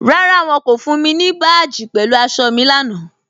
Rárá, wọ́n kò fún mi ni báàjì pẹ̀lú àṣọ̀ mi lánà.